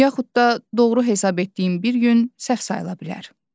Yaxud da doğru hesab etdiyin bir gün səhv sayıla bilər.